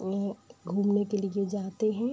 घूमने के लिए जाते हैं |